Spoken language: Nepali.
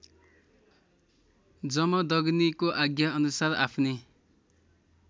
जमदग्नीको आज्ञाअनुसार आफ्नी